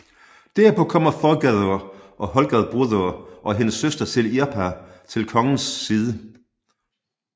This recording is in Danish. Derpå kommer Þorgerðr Hölgabrúðr og hendes søster Irpa til Hakons side